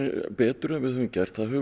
betur en við höfum gert það hefur